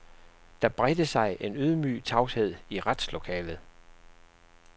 Der bredte sig en ydmyg tavshed i retslokalet.